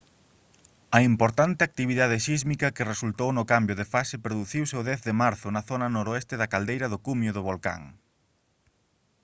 a importante actividade sísmica que resultou no cambio de fase produciuse o 10 de marzo na zona noroeste da caldeira no cumio do volcán